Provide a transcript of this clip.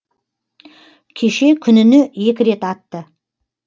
кеше күніне екі рет атты